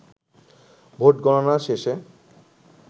vote গণনা শেষে